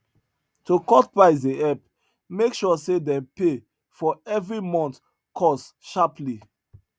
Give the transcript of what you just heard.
to cut price dey help make sure say dem pay for everi month cost sharperly